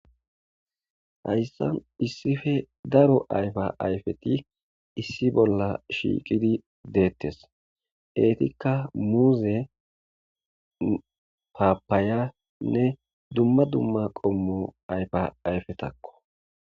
Hayssan issippe daaro ayffa ayffeti issi bolla shiqqidi dettes eetikka muuze paapayanne dumma dumma qommo ayffa ayffetako.